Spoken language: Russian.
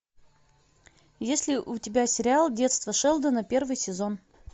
есть ли у тебя сериал детство шелдона первый сезон